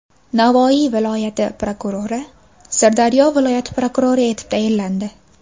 Navoiy viloyati prokurori Sirdaryo viloyati prokurori etib tayinlandi.